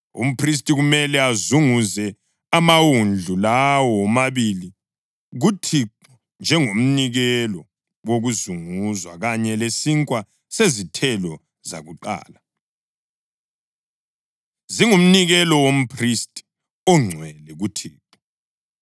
Umphristi kumele azunguze amawundlu lawo womabili kuThixo njengomnikelo wokuzunguzwa kanye lesinkwa sezithelo zakuqala. Zingumnikelo womphristi ongcwele kuThixo.